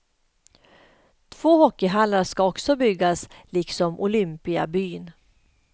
Två hockeyhallar skall också byggas liksom olympiabyn.